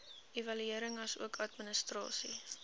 evaluering asook administrasie